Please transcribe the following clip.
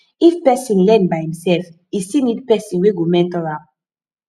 if persin learn by himself e still need persin wey go mentor am